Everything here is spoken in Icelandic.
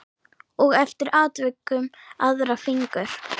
Og eftir atvikum aðra fingur.